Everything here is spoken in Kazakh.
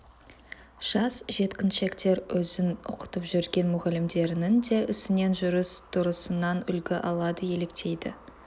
жас жеткіншектер өзін оқытып жүрген мұғалімдерінің де ісінен жүріс-тұрысынан үлгі алады еліктейді